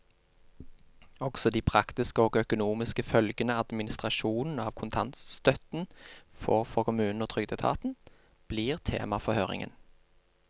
Også de praktiske og økonomiske følgene administrasjonen av kontantstøtten får for kommunene og trygdeetaten, blir tema for høringen.